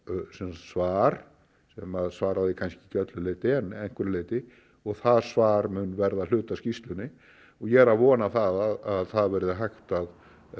svar sem að svaraði kannski öllu leyti en að einhverju leyti og það svar mun verða hluti af skýrslunni og ég er að vona það að það verði hægt það